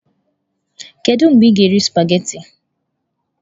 Kedu mgbe ị ga-eri sụpaghetị?